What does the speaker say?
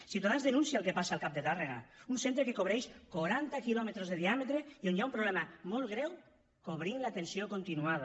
ciutadans denuncia el que passa al cap de tàrrega un centre que cobreix quaranta quilòmetres de diàmetre i on hi ha un problema molt greu cobrint l’atenció continuada